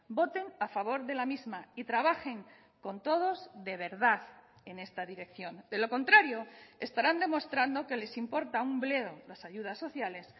voten a favor de la misma y trabajen con todos de verdad en esta dirección de lo contrario estarán demostrando que les importa un bledo las ayudas sociales